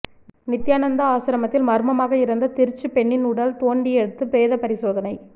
நித்தியானந்தா ஆசிரமத்தில் மர்மமாக இறந்த திருச்சி பெண்ணின் உடல் தோண்டியெடுத்து பிரேதப் பரிசோதனை